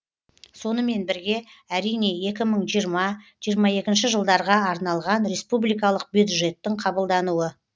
сонымен бірге әрине екі мың жиырма жиырма екінші жылдарға арналған республикалық бюджеттің қабылдануы